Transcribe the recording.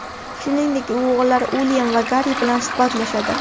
Shuningdek, u o‘g‘illari Uilyam va Garri bilan suhbatlashadi.